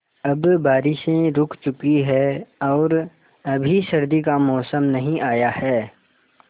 अब बारिशें रुक चुकी हैं और अभी सर्दी का मौसम नहीं आया है